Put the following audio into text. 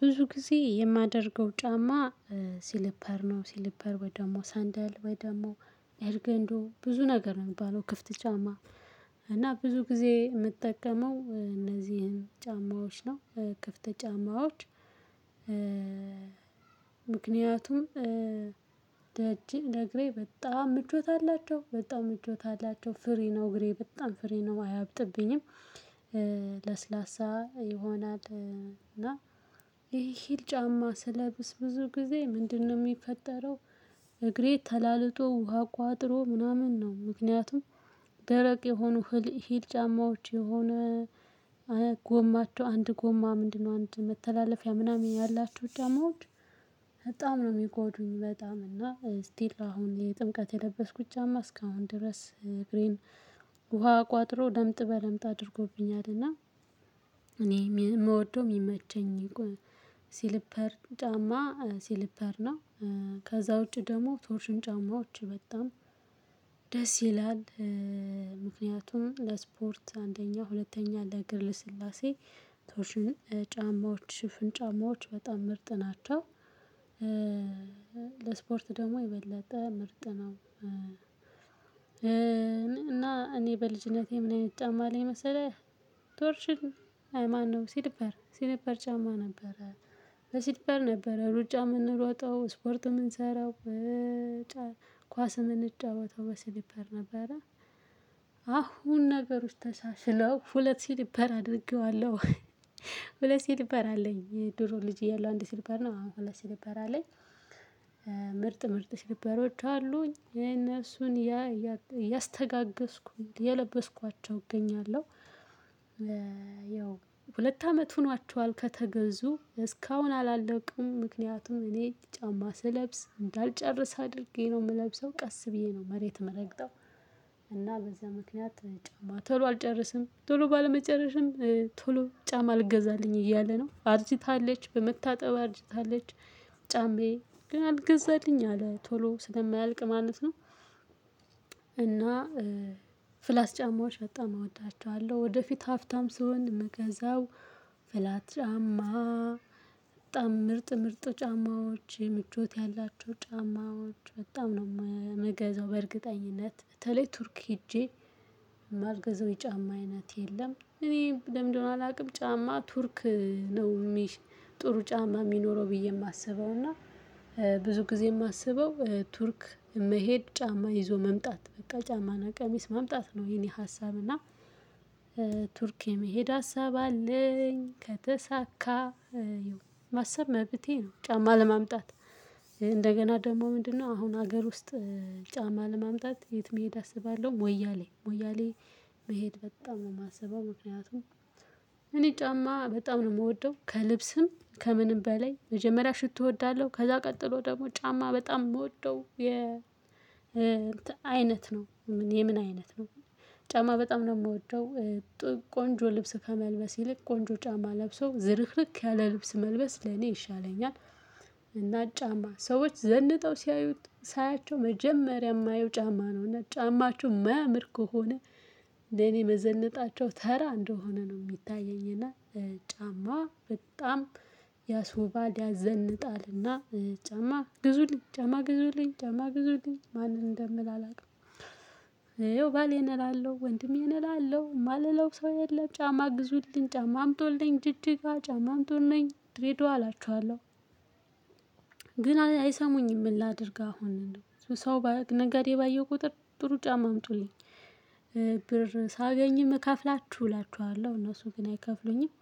ብዙ ጊዜ የማደርገው ጫማ ሲልፐር ነው ሲልፐር ወይ ደግሞ ሳንደል ወይ ደግሞ ኤርገንዶ ብዙ ነገር ነው የሚባለው ክፍት ጫማ። እና ብዙ ጊዜ የምጠቀመው እነዚህን ጫማዎች ነው ክፍት ጫማዎች። ምክንያቱም ለጅጅ ለእግሬ በጣም ምቾት አላቸው በጣም ምቾት አላቸው ፍሪ ነው እግሬ በጣም ፍሪ ነው አያብጥብኝም። ለስላሳ ይሆናል እና ይሄ ሂል ጫማ ስለብስብስ ብዙ ጊዜ ምንድነው የሚፈጠረው? እግሬ ተላልቶ ውሃ ቋጥሮ ምናምን ነው። ምክንያቱም ደረቅ የሆኑ ህል ሂል ጫማዎች የሆነ ጎማቸው አንድ ጎማ ምንድነው? አንድ መተላለፊያ ምናምን ያላችሁ ደግሞ በጣም ነው የሚጎዱኝ። በጣም እና ስቲል አሁን የጥምቀት የለበስኩት ጫማ እስካሁን ድረስ እግሬን ውሃ ቋጥሮ ለምጥ በለምጥ አድርጎብኛልና። እኔ የምወደው የሚመቸኝ ሲልፐር ጫማ ሲልፐር ነው። ከዛ ውጪ ደግሞ ቶርሽን ጫማዎች በጣም ደስ ይላል። ምክንያቱም ለስፖርት አንደኛ ሁለተኛ ለእግር ልስላሴ። ጫማዎች ሽፍን ጫማዎች በጣም ምርጥ ናቸው። ለስፖርት ደግሞ የበለጠ ምርጥ ነው። እና እኔ በልጅነቴ ምን አይነት ጫማ ላይ መሰለህ ቶርሽን አይ ማን ነው ሲልፐር ሲልፐር ጫማ ነበረ ሲልፐር ነበረ ሩጫ የምንሮጠው ስፖርት የምንሰራው በጫ ኳስ የምንጫወተው በስሊፐር ነበረ። አሁን ነገሮች ተሻሽለው ሁለት ስሊፐር አድርገዋለሁ። ሁለት ሲልበር አለኝ የድሮ ልጅ የለው አንድ ሲልበር ነው አሁን ሁለት ሲልበር አለኝ። ምርጥ ምርጥ ሲልበረው አሉኝ እነሱን እያስተጋገዝኩኝ እየለበስኳቸው እገኛለሁ። ያው ሁለት አመት ሆኗቸዋል ከተገዙ እስካሁን አላለቁም ምክንያቱም እኔ ጫማ ስለብስ እንዳልጨርስ አድርጌ ነው የምለብሰው ቀስ ብዬ ነው መሬት የምረግጠው። እና በዚህ ምክንያት ጫማ ቶሎ አልጨረስም ቶሎ ባለመጨረስም ቶሎ ጫማ አልገዛልኝ እያለ ነው አርጅታለች በመታጠብ አርጅታለች። ጫማዬ ግን አልገዛልኝ አለ ቶሎ ስለማያልቅ ማለት ነው። እና ፍላት ጫማዎች በጣም እወዳቸዋለሁ። ወደፊት ሀብታም ስሆን ምገዛው ፍላት ጫማ በጣም ምርጥ ምርጥ ጫማዎች ምቾት ያላቸው ጫማዎች በጣም ነው የምገዛው። በእርግጠኝነት በተለይ ቱርክ ሄጄ የማልገዛው የጫማ አይነት የለም። እኔ ለምንድነው አላውቅም። ጫማ ቱርክ ነው የሚሽ ጥሩ ጫማ የሚኖረው ብዬ የማስበው እና ብዙ ጊዜ የማስበው ቱርክ መሄድ ጫማ ይዞ መምጣት በቃ ጫማና ቀሚስ መምጣት ነው። የኔ ሀሳብ እና ቱርክ የመሄድ ሀሳብ አለኝ። ከተሳካ ማሰብ መብቴ ነው። ጫማ ለማምጣት እንደገና ደግሞ ምንድነው አሁን ሀገር ውስጥ ጫማ ለማምጣት የት መሄድ አስባለሁ? ሞያሌ ሞያሌ መሄድ በጣም ነው የማስበው። ምክንያቱም እኔ ጫማ በጣም ነው የምወደው ከልብስም ከምንም በላይ መጀመሪያ ሽቶ እወዳለሁ። ከዛ ቀጥሎ ደግሞ ጫማ በጣም የምወደው የ እንትን አይነት ነው። የምን አይነት ነው? ጫማ በጣም ነው የምወደው። ቆንጆ ልብስ ከመልበስ ይልቅ ቆንጆ ጫማ ለብሶ ዝርክርክ ያለ ልብስ መልበስ ለኔ ይሻለኛል። እና ጫማ ሰዎች ዘንጠው ሲያዩት ሳያቸው መጀመሪያ የማየው ጫማ ነው። እና ጫማቸው ማያምር ከሆነ ለኔ መዘነጣቸው ተራ እንደሆነ ነው የሚታየኝና። ጫማ በጣም ያስውባል ያዘንጣልና ጫማ ግዙልኝ ጫማ ግዙልኝ ጫማ ግዙልኝ ማንን እንደምል አላውቅም። ይሄው ባሌን ይሄን እላለሁ ወንድሜ እላለሁ ማለለው ሰው የለም ጫማ ግዙልኝ ጫማ አምጦልኝ ጅጅጋ ጫማ አምጦልኝ ድሬድዋ አላቸዋለው። ግን አይሰሙኝም ምን ላድርግ አሁን ነው ሰው በነገዴ ነጋዴ ባየሁ ቁጥር ጥሩ ጫማ አምጡልኝ። ብር ሳገኝም እከፍላችሁ እላችኋለሁ እነሱ ግን አይከፍሉኝም።